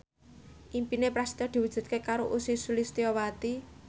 impine Prasetyo diwujudke karo Ussy Sulistyawati